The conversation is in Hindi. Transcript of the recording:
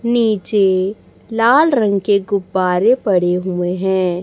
नीचे लाल रंग के गुब्बारे पड़े हुए हैं।